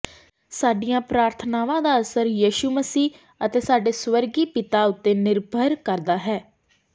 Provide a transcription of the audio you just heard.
ਸਾਡੀਆਂ ਪ੍ਰਾਰਥਨਾਵਾਂ ਦਾ ਅਸਰ ਯਿਸੂ ਮਸੀਹ ਅਤੇ ਸਾਡੇ ਸਵਰਗੀ ਪਿਤਾ ਉੱਤੇ ਨਿਰਭਰ ਕਰਦਾ ਹੈ